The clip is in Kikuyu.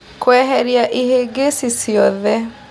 Kũeheria ihĩngĩcĩ ciothe.